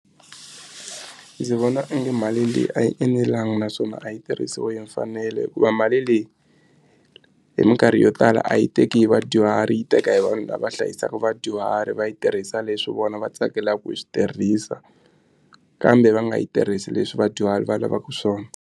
Ndzi vona onge mali leyi a yi enelanga naswona a yi tirhisiwi hi mfanelo hikuva mali leyi hi mikarhi yo tala a yi teki hi vadyuhari yi teka hi vanhu lava hlayisaka vadyuhari va yi tirhisa leswi vona va tsakelaka ku swi tirhisa kambe va nga yi tirhisi leswi vadyuhari va lavaku swona.